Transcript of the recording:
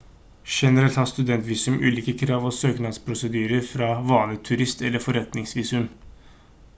generelt har studentvisum ulike krav og søknadsprosedyrer fra vanlige turist- eller forretningsvisum